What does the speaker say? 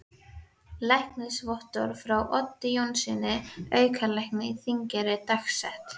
Læknisvottorð frá Oddi Jónssyni, aukalækni á Þingeyri, dagsett